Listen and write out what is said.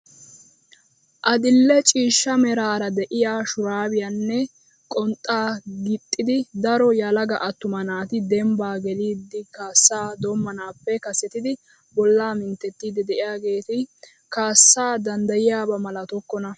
Adil'e ciishsha meraara de'iyaa shuraabiyaanne qonxxaa gixxida daro yelaga attuma naati dembbaa gelidi kaassaa doommanappe kasettidi bollaa mintettiidi de'iyaageti kaassaa danddayiyaaba malatokkona!